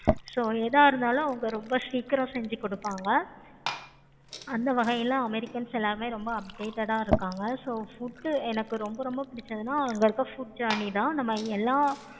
so எத இருந்தாலும் அவங்க ரொம்ப சீக்கிரமா செஞ்சி கொடுப்பாங்க. அந்த வகையில americans எல்லாருமே ரொம்ப updated ஆஹ் இருப்பாங்க. so foods எனக்கு ரொம்ப ரொம்ப பிடிச்சது அங்க இருக்க food journey தான்